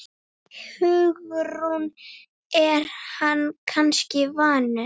Hugrún: Er hann kannski vanur?